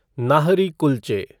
नाहरी कुल्चे